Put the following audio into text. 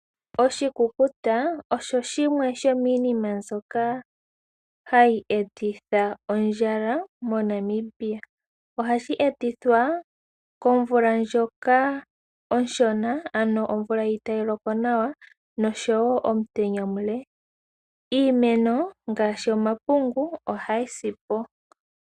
Oshikukuta osho shimwe shomiinima mbyoka hayi etitha ondjala moNamibia. Ohashi etithwa komvula ndjoka onshona ano omvula itaayi loko nawa noshowo omutenya omule. Iimeno ngaashi omapungu ohayi si po.